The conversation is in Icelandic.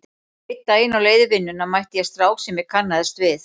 Einn daginn á leið í vinnuna mætti ég strák sem ég kannaðist við.